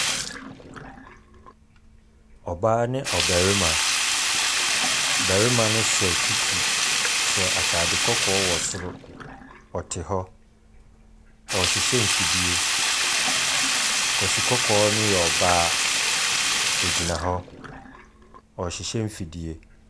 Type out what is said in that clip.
Ɔbaa ne ɔbarima. Barima no hyɛ kiki, ɔhyɛ ataade kɔkɔɔ wɔ soro. Ɔte hɔ, ɔrehyehyɛ mfidie. Kwasi kɔɔkɔɔ no yɛ ɔbaa.